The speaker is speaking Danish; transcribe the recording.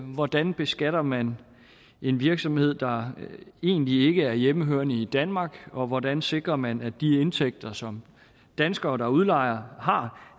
hvordan beskatter man en virksomhed der egentlig ikke er hjemmehørende i danmark og hvordan sikrer man at de indtægter som danskere der udlejer har